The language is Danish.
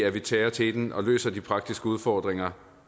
at vi tager teten og løser de praktiske udfordringer